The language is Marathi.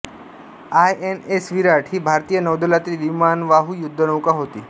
आय एन एस विराट ही भारतीय नौदलातील विमानवाहू युद्धनौका होती